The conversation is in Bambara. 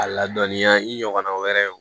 A ladɔnniya i ɲɔgɔnna wɛrɛ ye